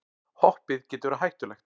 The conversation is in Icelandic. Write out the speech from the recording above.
Hoppið getur verið hættulegt